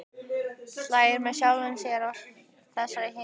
Hlær með sjálfum sér að þessari minningu.